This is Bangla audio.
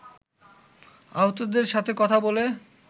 আহতদের সাথে কথা বলে